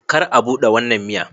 Kar a bude wannan miya